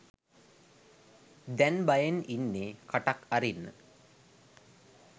දැන් බයෙන් ඉන්නේ කටක් අරින්න